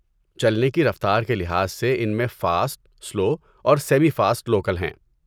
چلنے کی رفتار کے لحاظ سے ان میں فاسٹ، سلو، اور سیمی فاسٹ لوکل ہیں۔